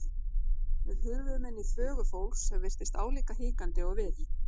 Við hurfum inn í þvögu fólks sem virtist álíka hikandi og við.